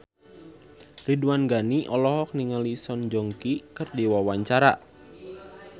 Ridwan Ghani olohok ningali Song Joong Ki keur diwawancara